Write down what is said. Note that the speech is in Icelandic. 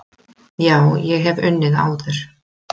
Já, ég hef unnið áður.